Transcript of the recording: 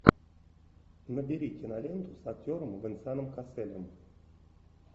набери киноленту с актером венсаном касселем